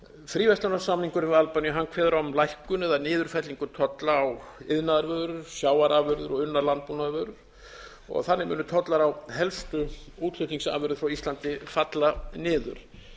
fríverslunarsamningur við albaníu kveður á um lækkun eða niðurfellingu tolla á iðnaðarvörur sjávarafurðir og unnar landbúnaðarvörur þannig munu tollar á helstu útflutningsafurðir frá íslandi falla niður